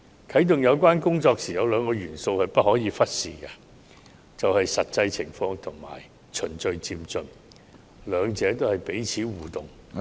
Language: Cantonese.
啟動有關工作時，有兩個元素是不可忽視的，就是"實際情況"和"循序漸進"，兩者是彼此互動......